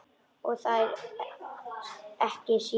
Og þér ekki síður